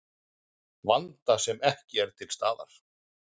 Vanda sem ekki er til staðar